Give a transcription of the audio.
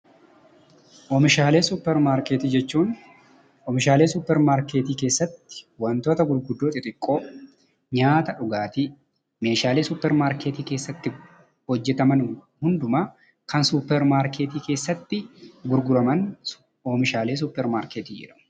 Oomishaalee suuppar maarkeettii jechuun oomishaalee suuppar maarkeettii keessatti wantoota gurguddoo, xixiqqoo, nyaataaf dhugaatii, meeshaalee suuppar maarkeetti keessatti hojjetaman hundumaa, kan suuppar maarkeettii gurguraman oomishaalee suuppar maarkeettii jedhamu.